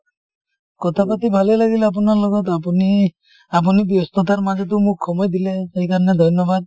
কথা পাতি ভালেই লাগিল আপোনাৰ লগত আপুনি আপুনি ব্যস্ততাৰ মাজতো মোক সময় দিলে সেই কাৰণে ধন্যবাদ।